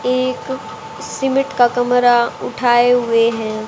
एक सीमिट का कमरा उठाए हुए हैं।